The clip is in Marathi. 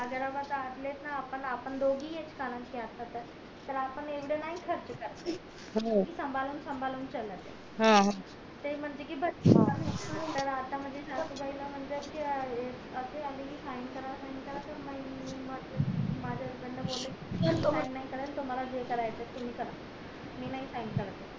ते म्हणते कि आता माझ्या सासूबाई ला म्हणतात कि माझ्या कडन बोले मी sign नाय करणार तुम्हला जे करायचंय ते करा मी sign नाही करत